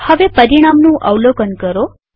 હવે પરિણામનું અવલોકન કરો